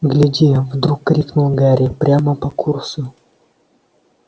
гляди вдруг крикнул гарри прямо по курсу